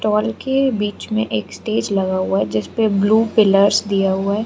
टाल के बीच में एक स्टेज लगा हुआ है जिसपे ब्लू पिलर्स दिया हुआ है।